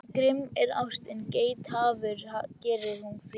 Grimm er ástin, geithafur gerir hún fríðan.